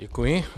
Děkuji.